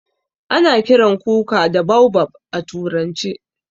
A na kiran kuka da baobab a turance.